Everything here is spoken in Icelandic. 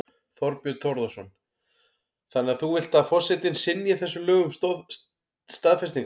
Þorbjörn Þórðarson: Þannig að þú vilt að forsetinn synji þessum lögum staðfestingar?